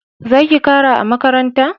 Zaki makara a makaranta